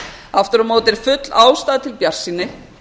aftur á móti er full ástæða til bjartsýni